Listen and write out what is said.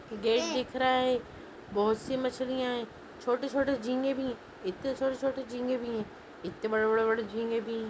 gate दिख रहा हैं बहुत सी मछलियाँ हैं छोटे छोटे झींगे भी इत्ते छोटे छोटे झींगे भी हैं इत्ते बड़े बड़े झींगे भी--